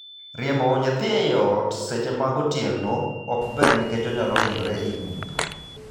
Riembo nyathi ei ot e seche mag otieno ok ber nikech onyalohinyore ei mudho.